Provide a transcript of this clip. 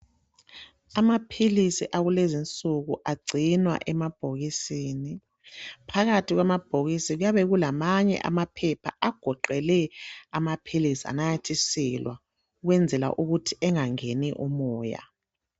Amaphilisi akulezinsuku agcinwa emabhokisini. Phakathi kwamabhokisi kuyabe kulamanye amaphepha agoqele amaphilisi ananyathiselwa ukwenzela ukuthi engeni umoya.